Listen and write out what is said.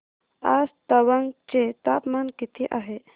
आज तवांग चे तापमान किती आहे